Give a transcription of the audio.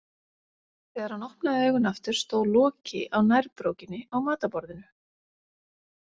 Þegar hann opnaði augun aftur stóð Loki á nærbrókinni á matarborðinu.